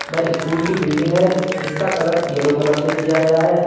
वह स्कूल की बिल्डिंग है जिसका कलर यलो कलर से किया गया है।